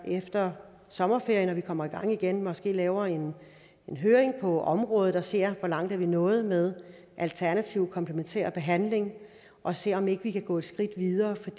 vi efter sommerferien når vi kommer i gang igen måske laver en høring på området og ser hvor langt vi er nået med alternativkomplementær behandling og ser om ikke vi kan gå et skridt videre for